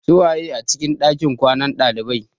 Su waye a cikin ɗakin kwanan ɗalibai?